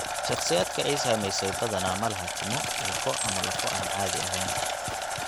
Shakhsiyaadka ay saamaysay badanaa ma laha timo, ilko, ama lafo aan caadi ahayn.